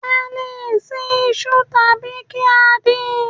A lè se isu tàbí kí á din